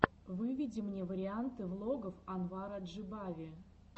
выведи мне варианты влогов анвара джибави